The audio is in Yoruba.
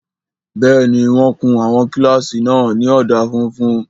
Bẹ́ẹ̀ni, wọ́n kun àwọn kílásì náà ní ọ̀dà funfun